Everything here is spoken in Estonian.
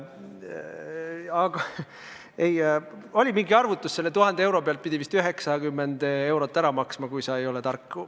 Aga oli mingi arvutus, et selle 1000 euro pealt peaks vist 90 eurot ära maksma, kui sa ei ole tark.